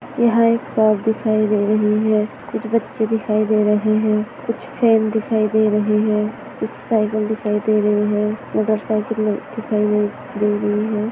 यहाँ एक शॉप दिखाई दे रही है कुछ बच्चे दिखाई दे रहे है कुछ फॅन दिखाई दे रहे है कुछ साइकिल दिखाई दे रही है मोटर सायकले दिखाई दे रही है।